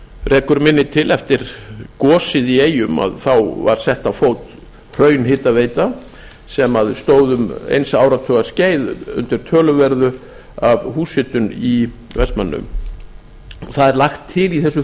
rekur minni til eftir gosið í eyjum var sett á fót hraunhitaveita sem stóð um eins áratugar skeið undir töluverðu af húshitun í vestmannaeyjum það er lagt til í